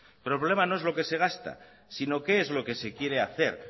pero el problema no es lo que se gasta sino qué es lo que se quiere hacer